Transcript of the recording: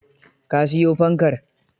Ka siyo fankar?